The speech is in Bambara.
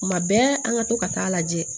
Kuma bɛɛ an ka to ka taa lajɛ